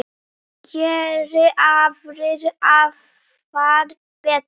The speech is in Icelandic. Geri aðrir afar betur.